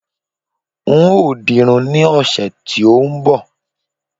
n o dirun ni ọsẹ ti o n bo